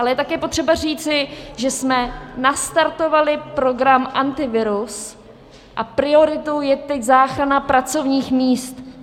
Ale také je potřeba říci, že jsme nastartovali program Antivirus a prioritou je teď záchrana pracovních míst.